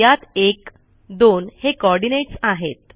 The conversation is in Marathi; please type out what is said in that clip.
यात 12हे कोऑर्डिनेट्स आहेत